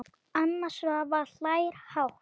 Anna Svava hlær hátt.